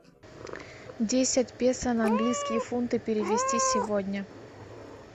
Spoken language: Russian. десять песо на английские фунты перевести сегодня